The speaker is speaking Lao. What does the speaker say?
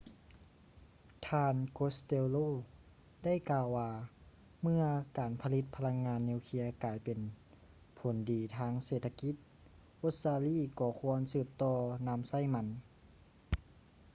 ທ່ານ costello ໄດ້ກ່າວວ່າເມື່ອການຜະລິດພະລັງງານນິວເຄຼຍກາຍເປັນຜົນດີທາງເສດຖະກິດ ອົດສະຕາລີກໍຄວນສືບຕໍ່ນຳໃຊ້ມັນ